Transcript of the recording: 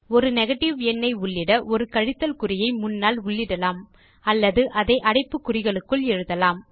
ஒரு நெகேட்டிவ் எண்ணை உள்ளிட ஒரு கழித்தல் குறியை முன்னால் உள்ளிடலாம் அல்லது அதை அடைப்புக்குறிகளுக்குள் எழுதலாம்